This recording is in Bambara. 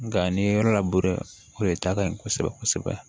Nga n'i ye yɔrɔ labure o de ta ka ɲi kosɛbɛ kosɛbɛ